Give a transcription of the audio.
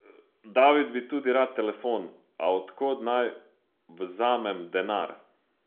David bi tudi rad telefon, a od kod naj vzamem denar?